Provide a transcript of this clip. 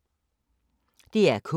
DR K